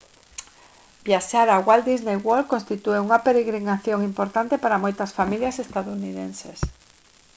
viaxar a walt disney world constitúe unha peregrinación importante para moitas familias estadounidenses